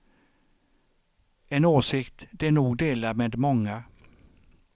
En åsikt de nog delar med många.